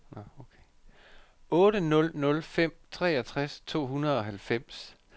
otte nul nul fem treogtres to hundrede og halvfems